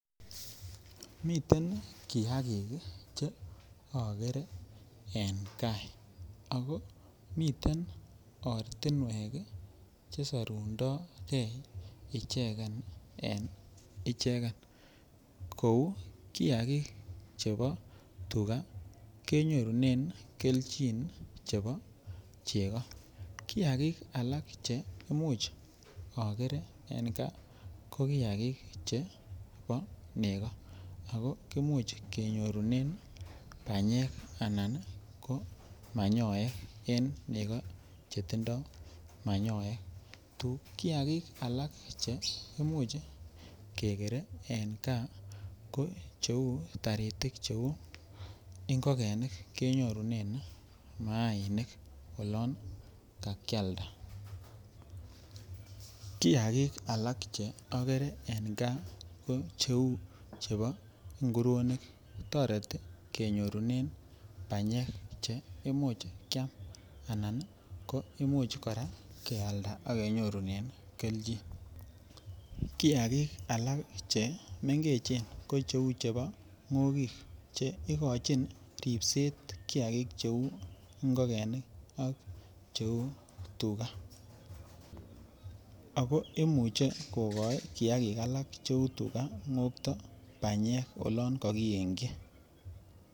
Miten kiagiik iih cheogere en gaa, ago miten ortinwek iih chesorundoo ichegen en ichegen kouu kiagik chebo tubo tuga kenyorunen kelchin chebo chego, kiagiik alaak cheimuch ogere en gaa ko kiagiik nchebo nego ago imuch kenyorunen banyeek anan ko manyoek en nego chetindoo manyoek, kiagiik alak cheimuch kegere en kaa ko taritik cheuu ngogenik kenyoruneen maainik olon kakyaalda, kiagik alak che ogere en gaa ko cheuu chebo nguronik kotoreti kenyorunen banyeek cheimuch kyaam anann imuch koraa kealda ak kenyoruneen kelcchin, kiagiik alak chemengechen ko cheuu chebo ngogik che igochion ribseet kiagiiik cheuu ngogenik ak cheuu tuga, ago imuche kogooi kiagiik alaak cheuu tuga ngokto banyeek oloon kogienkyi.